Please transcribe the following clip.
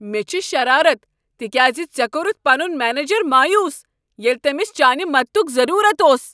مےٚ چھ شرارت تکیازِ ژے کورتھ پنن منیجر مایوس ییلِہ تٔمس چانِہ مدتک ضرورت اوس۔